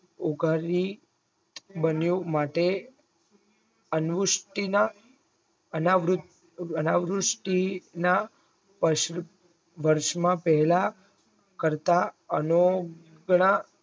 ઓઘરવી બન્યું માટે અંવૃષ્ટિ માં અનાવૃત અનાવૃષ્ટિના વર્ષમાં પહેલા કરતા અને ગણા